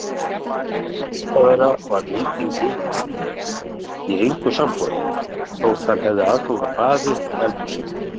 Þessi vistarvera var Lýtingi í engu samboðin þótt hann hefði aðgang að baði og eldhúsi.